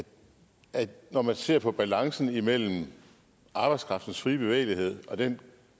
at når man ser på balancen imellem arbejdskraftens fri bevægelighed og den